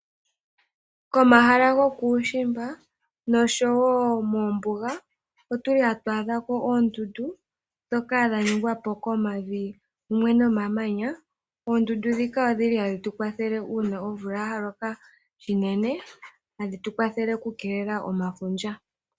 Komahala gokuushimba nosho wo moombuga, otu li hatu adha ko oondundu, ndhoka dha ningwa po komavi mumwe nomamanya. Oondundu ndhino odhi li hadhi tu kwathele uuna omvula ya loka unene, hadhi tu kwathele okukeelela omafundja.